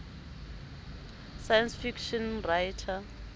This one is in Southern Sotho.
science fiction writer